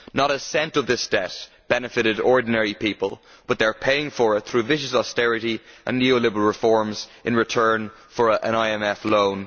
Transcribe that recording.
Not a cent of this debt benefited ordinary people but they are paying for it through vicious austerity and neo liberal reforms in return for an IMF loan.